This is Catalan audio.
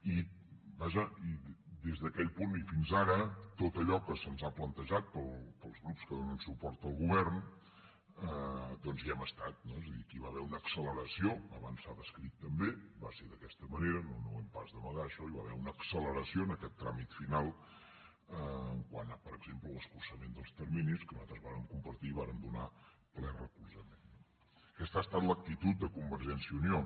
i vaja des d’aquell punt i fins ara en tot allò que se’ns ha plantejat pels grups que donen suport al govern doncs hi hem estat no és a dir aquí hi va haver una acceleració abans s’ha descrit també va ser d’aquesta manera no ho hem pas d’amagar això hi va haver una acceleració en aquest tràmit final quant a per exemple l’escurçament dels terminis que nosaltres vàrem compartir i hi vàrem ple recolzament no aquesta ha estat l’actitud de convergència i unió